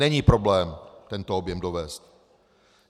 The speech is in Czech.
Není problém tento objem dovézt.